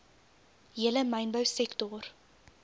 hele mynbou sektor